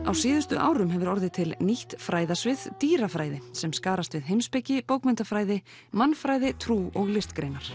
á síðustu árum hefur orðið til nýtt fræðasvið dýrafræði sem skarast við heimspeki bókmenntafræði mannfræði trú og listgreinar